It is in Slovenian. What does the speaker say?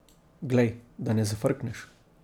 Glej, da ne zafrkneš.